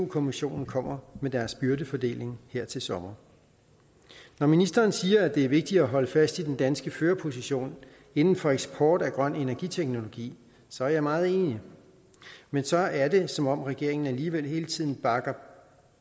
kommissionen kommer med deres byrdefordeling her til sommer når ministeren siger at det er vigtigt at holde fast i den danske førerposition inden for eksport af grøn energiteknologi så er jeg meget enig men så er det som om regeringen alligevel hele tiden bakker